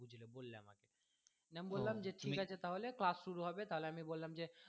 নিয়ে আমি বললাম যে ঠিক আছে তাহলে class শুরু হবে তাহলে আমি বললাম যে